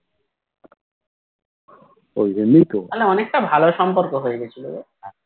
তাহলে অনেকটা ভালো সম্পর্ক হয়ে গেছিলো গো